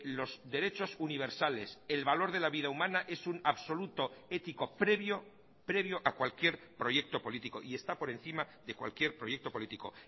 los derechos universales el valor de la vida humana es un absoluto ético previo previo a cualquier proyecto político y está por encima de cualquier proyecto político